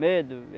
Medo.